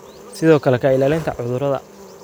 sidoo kale ka ilaalinta cudurada.